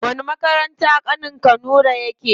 Wani makaranta ƙanin ka nura yake?